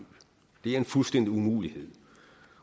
det er en fuldstændig umulighed